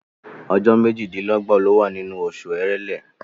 Ọjọ́ méjìdínlọ́gbọ̀ ló wà nínú oṣù Èrèlé.